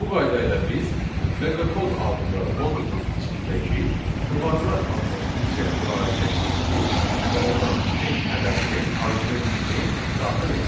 Bu qayda ilə biz meqakod adlı modulun içindəki kvadrat adlı funksiyaya müraciət etdik və ona beş ədədini arqument kimi daxil etdik.